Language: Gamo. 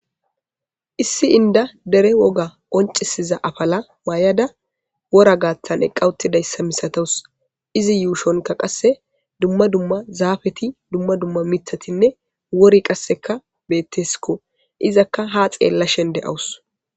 Issi inda dere woga oncisiza afala maayada wora gaathan eqqawuttidayssa misatous izi yuushonka qasse dumma dumma zaafeti dumma dumma mitatinne wori qasseka betteskko izakka ha xeella shende awus.